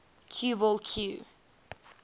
cue ball cue